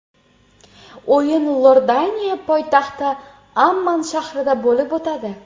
O‘yin Iordaniya poytaxti Amman shahrida bo‘lib o‘tadi.